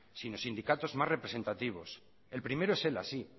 sino sindicatos más representativos el primero es ela